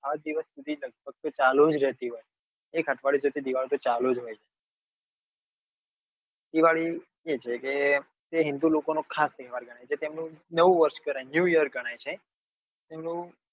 સાત દિવસ સુધી લગભગ તો ચાલુ જ રેતી હોય એક અઠવાડિયા સુધી દિવાળી તો ચાલુ જ હોય છે દિવાળી એ જ હોય કે એ હિંદુ લોકો નો ખાસ તહેવાર ગણાય જે તેમનું નવું વરસ કરાય new year ગણાય છે.